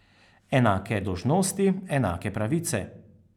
Enake dolžnosti, enake pravice.